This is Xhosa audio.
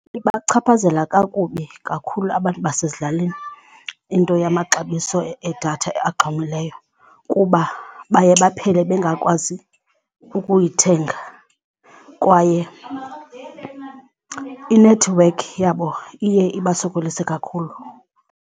Ibachaphazela kakubi kakhulu abantu basezilalini into yamaxabiso edatha axhomileyo kuba baye baphele bengakwazi ukuyithenga kwaye inethiwekhi yabo iye ibasokolise kakhulu.